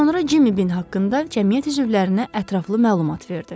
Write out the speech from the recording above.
Daha sonra Cimmy bin haqqında cəmiyyət üzvlərinə ətraflı məlumat verdi.